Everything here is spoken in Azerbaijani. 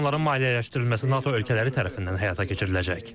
Ancaq onların maliyyələşdirilməsi NATO ölkələri tərəfindən həyata keçiriləcək.